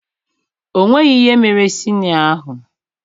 O nweghị ihe mere sinịọ ahụ